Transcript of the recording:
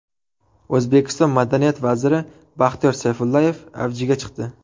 O‘zbekiston madaniyat vaziri Baxtiyor Sayfullayev avjiga chiqdi.